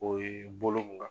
O ye bolo bɔ.